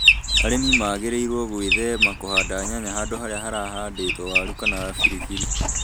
Arĩmi magĩrĩirũo gwĩthema kũhanda nyanya handũ harĩa harahandĩtwo waru kana biribiri